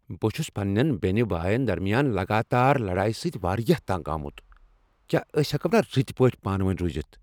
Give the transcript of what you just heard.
بہٕ چھس پننین بینِہ باین درمیان لگاتار لڑایہ سۭتۍ واریاہ تنگ آمُت۔ کیا أسۍ ہیکو نا رتۍ پٲٹھۍ پانؤنیۍ روٗزِتھ؟